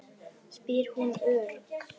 spyr hún örg.